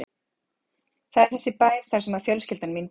Þar er þessi bær þar sem fjölskyldan mín býr.